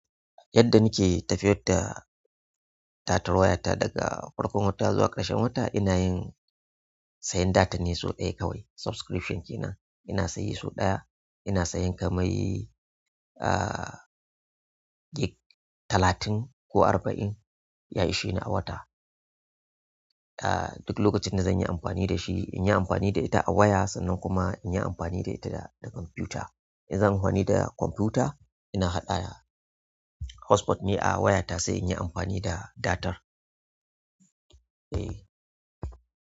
Yadda nike tafiyar da datar wayata daga farkon wata zuwa ƙarshen wata inayin sayan datar neh so ɗaya kawai. Subscription kenan ina siye so ɗaya ina siyen kamar, ah, gig talatin ko arba'in ya ishi ni a wata. Ah, duk lokacin da zanyi amfani dashi inyi amfani da ita a waya sannan kuma inyi amfani da ita da, da kwamfuta. In zanyi amfani da kwamfuta ina haɗa da hotspot ne a wayata sai inyi amfani da datar. Eh.